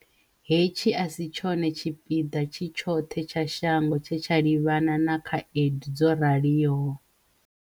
Hetshi a si tshone tshipiḓa tshi tshoṱhe tsha shango tshe tsha livhana na khaedu dzo raliho.